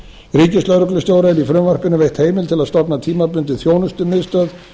ríkislögreglustjóra er í frumvarpinu veitt heimild til að stofna tímabundið þjónustumiðstöð